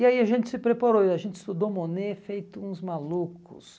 E aí a gente se preparou, a gente estudou o Monet feito uns malucos.